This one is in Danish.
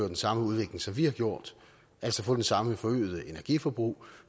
den samme udvikling som vi har gjort altså få det samme forøgede energiforbrug